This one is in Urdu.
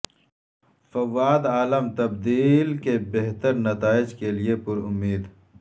فواد عالم تبدیلی کے بہتر نتائج کیلئے پر امید